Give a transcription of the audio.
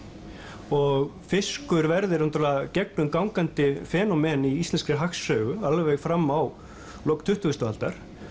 og fiskur verður gegnumgangandi phenomen í íslenskri hagsögu alveg fram á lok tuttugustu aldar